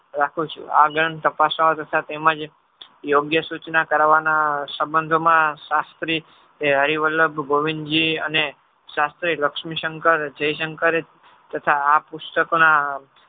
રાખું છું. આ ગ્રંથ તપાસવા તથા તેમજ યોગ્ય સૂચના કરવાના સંબંધોમાં શાસ્ત્રી હરિવલ્લભ ગોવિંદજી અને શાસ્ત્રી લક્ષ્મીશંકર જયશંકરે તથા આ પુસ્તકના